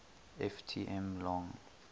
ft m long